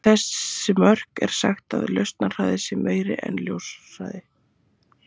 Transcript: Við þessi mörk er sagt að lausnarhraðinn sé meiri en ljóshraði.